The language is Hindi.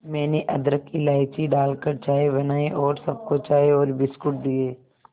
मैंने अदरक इलायची डालकर चाय बनाई और सबको चाय और बिस्कुट दिए